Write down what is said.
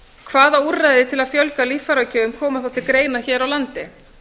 hvaða úrræði til að fjölga líffæragjöfum koma þá til greina hér á landi